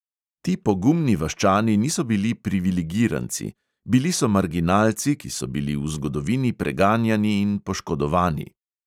Ti pogumni vaščani niso bili privilegiranci – bili so marginalci, ki so bili v zgodovini preganjani in poškodovani.